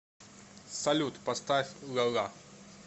салют поставь ла ла